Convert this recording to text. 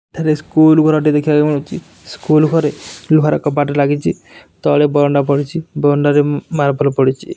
ଏଠାରେ ସ୍କୁଲ୍ ଘର ଟେ ଦେଖିବାକୁ ମିଳୁଚି ସ୍କୁଲ୍ ଘରେ ଲୁହା ର କବାଟ ଲାଗିଚି ତଳେ ବରଣ୍ଡା ପଡିଚି ବରଣ୍ଡା ରେ ଉଁ ମାର୍ବଲ ପଡିଚି।